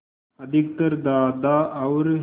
अधिकतर दादा और